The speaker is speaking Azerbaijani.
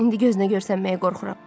İndi gözünə görünməyə qorxuram.